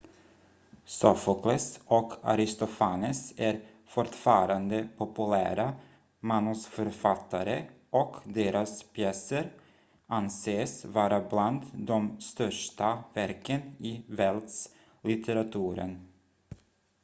sofokles och aristofanes är fortfarande populära manusförfattare och deras pjäser anses vara bland de största verken i världslitteraturen